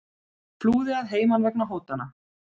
Flúði að heiman vegna hótana